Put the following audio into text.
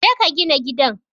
Je ka gina gidan